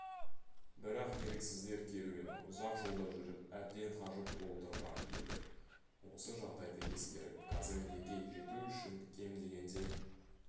бірақ еріксіздер керуені ұзақ жолда жүріп әбден қажып болдырған еді осы жағдайды ескеріп казондеге жету үшін кем дегенде